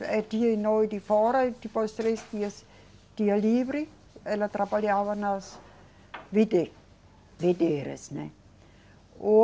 Era dia e noite de fora e depois três dias, dia livre, ela trabalhava nas vide, videiras, né. O